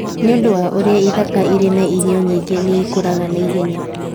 Nĩ ũndũ wa ũrĩa ithaka irĩ na irio nyingĩ, nĩ ikũraga na ihenya.